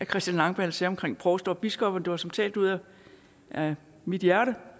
christian langballe sagde om provster og biskopper det var som talt ud af mit hjerte